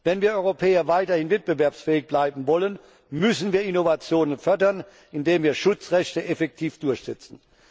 Wenn wir Europäer weiter wettbewerbsfähig bleiben wollen, müssen wir Innovationen fördern, indem wir Schutzrechte effektiv durchsetzen.